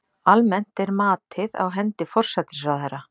Almennt er matið á hendi forsætisráðherra.